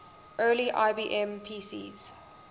early ibm pcs